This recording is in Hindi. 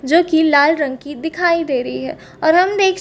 जो की लाल रंग की दिखाई दे रही है और हम देख सकते--